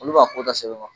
Olu b'a ko da sɛbɛn